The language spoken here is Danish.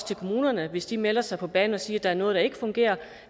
til kommunerne hvis de melder sig på banen og siger at der er noget der ikke fungerer